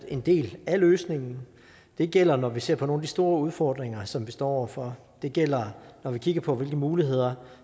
en del af løsningen det gælder når vi ser på nogle af de store udfordringer som vi står over for det gælder når vi kigger på hvilke muligheder